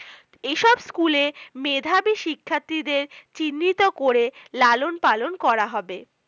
school এর মেধাবী শিক্ষার্থীদের চিহ্নিত করে লালন পালন করা হবে